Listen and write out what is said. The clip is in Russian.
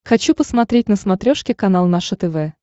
хочу посмотреть на смотрешке канал наше тв